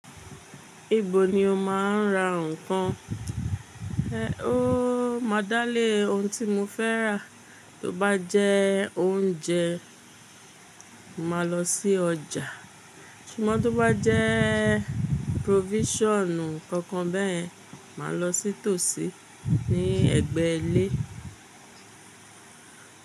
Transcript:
Ibo ni o máa ń ra ǹkan? Ehn ó, mádálẹ̀ ohun tí mo fẹ́ rà, tó bá jẹ́ oúnjẹ, mo màá lọ sí ọjà. Ṣùgbọ́n tó bá jẹ́ provision kankan bẹ́ẹ̀, màá lọ sí tòsí ní ẹ̀gbẹ́ ilé.